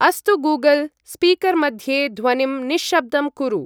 अस्तु Google, speaker मध्ये ध्वनिं निश्शब्दं कुरु।